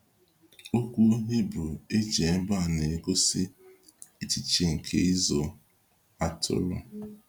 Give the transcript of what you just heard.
Okwu Hibru eji ebe a na-egosi echiche nke ịzụ atụrụ.